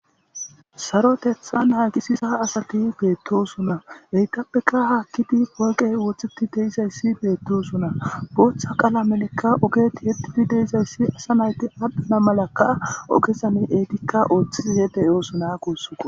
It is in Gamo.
sarotethan naagisi sa asati beettosuna heytappeka haakkidi woyqey woththeti deizayssi beettosuna booththa qaala melekka ogeti yetidi deizayssi asa nayti adhdhana malakka ogesan eetikka ooththii hede oosona kuussaq